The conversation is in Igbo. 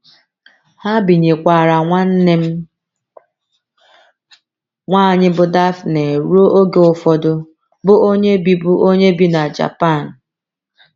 Ha binyekwaara nwanne m nwanyị bụ́ Daphne ruo oge ụfọdụ, bụ́ onye bi bụ́ onye bi na Japan.